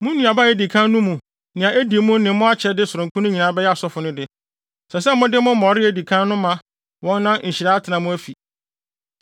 Mo nnuaba a edi kan no mu nea edi mu ne mo akyɛde sononko no nyinaa bɛyɛ asɔfo no de. Ɛsɛ sɛ mode mo mmɔre a edi kan no ma wɔn na nhyira atena mo afi mu.